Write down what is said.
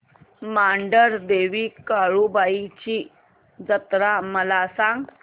मांढरदेवी काळुबाई ची जत्रा मला सांग